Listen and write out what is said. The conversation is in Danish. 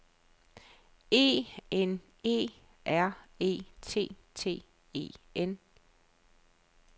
E N E R E T T E N